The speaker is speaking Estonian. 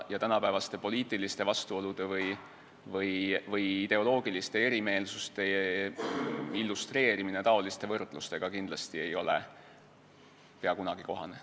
Tänapäevaste poliitiliste vastuolude või ideoloogiliste erimeelsuste illustreerimine selliste võrdlustega ei ole peaaegu kunagi kohane.